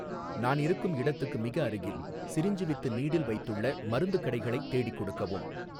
நான் இருக்கும் இடத்துக்கு மிக அருகில், சிரிஞ்சு வித் நீடில் வைத்துள்ள மருந்துக் கடைகளைத் தேடிக் கொடுக்கவும்